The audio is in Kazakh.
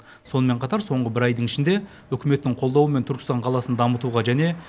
сонымен қатар соңғы бір айдың ішінде үкіметтің қолдауымен түркістан қаласын дамытуға және